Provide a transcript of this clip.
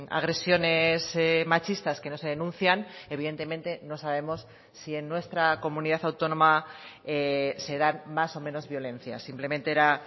agresiones machistas que no se denuncian evidentemente no sabemos si en nuestra comunidad autónoma se dan más o menos violencias simplemente era